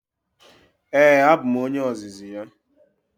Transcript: Ee, abụ m onye ozizi ya.